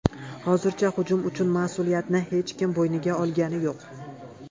Hozircha hujum uchun mas’uliyatni hech kim bo‘yniga olgani yo‘q.